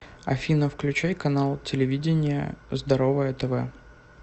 афина включай канал телевидения здоровое тв